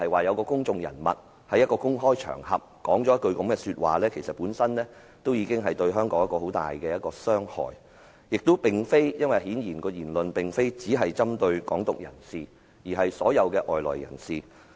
有公眾人物在香港的公開場合說出這樣一句話，這對香港本身而言已會造成極大傷害，更何況其言論顯然不單針對"港獨"人士，而是所有外來人士。